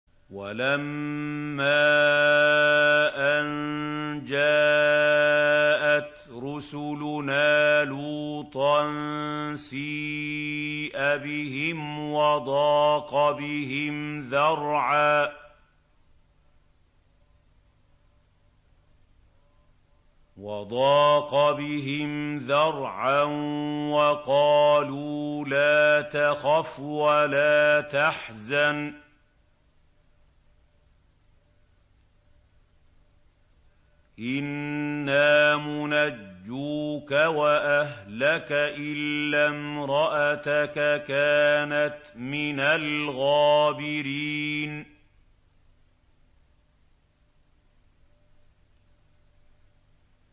وَلَمَّا أَن جَاءَتْ رُسُلُنَا لُوطًا سِيءَ بِهِمْ وَضَاقَ بِهِمْ ذَرْعًا وَقَالُوا لَا تَخَفْ وَلَا تَحْزَنْ ۖ إِنَّا مُنَجُّوكَ وَأَهْلَكَ إِلَّا امْرَأَتَكَ كَانَتْ مِنَ الْغَابِرِينَ